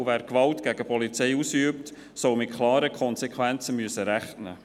Wer Gewalt gegen die Polizei ausübt, soll mit klaren Konsequenzen rechnen müssen.